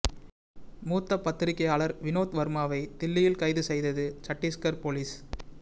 மூத்த பத்திரிகையாளர் வினோத் வர்மாவை தில்லியில் கைது செய்தது சட்டீஸ்கர் போலீஸ்